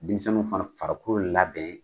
Denmisɛnninw fana farikolo labɛn.